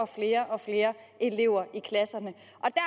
flere og flere elever i klasserne